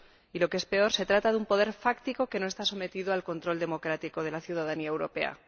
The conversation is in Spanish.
y, lo que es peor, se trata de un poder fáctico que no está sometido al control democrático de la ciudadanía europea.